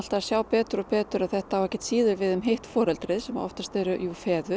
að sjá betur og betur að þetta á ekkert síður við um hitt foreldrið sem oftast eru jú feður